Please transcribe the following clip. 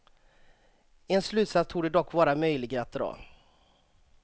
En slutsats torde dock vara möjlig att dra.